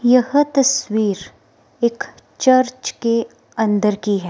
यह तस्वीर एक चर्च के अंदर की है।